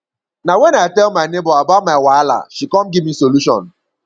na wen i tell my nebor about my wahala she come give me solution